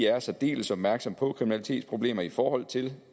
er særdeles opmærksomme på kriminalitetsproblemer i forhold til